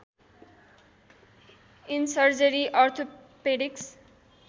in surgery orthopaedics